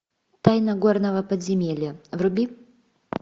тайна горного подземелья вруби